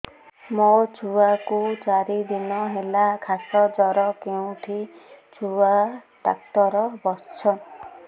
ମୋ ଛୁଆ କୁ ଚାରି ଦିନ ହେଲା ଖାସ ଜର କେଉଁଠି ଛୁଆ ଡାକ୍ତର ଵସ୍ଛନ୍